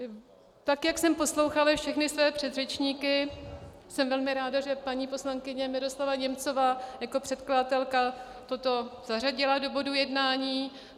Tak jak jsem poslouchala všechny své předřečníky, jsem velmi ráda, že paní poslankyně Miroslava Němcová jako předkladatelka toto zařadila do bodů jednání.